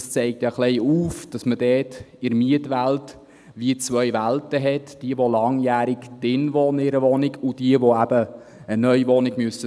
Das zeigt auf, dass man in der Mietwelt zwei Welten hat: jene, welche langjährig in einer Wohnung wohnen und jene, welche eine Neuwohnung suchen müssen.